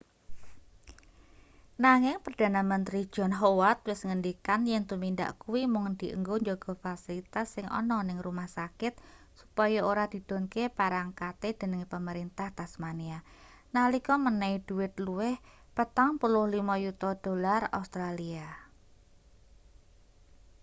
nanging perdana menteri john howard wis ngendikan yen tumindak kuwi mung dienggo njaga fasilitas sing ana ning rumah sakit supaya ora didhunke parangkate dening pemerintah tasmania nalika menehi dhuwit luwih aud$45 yuta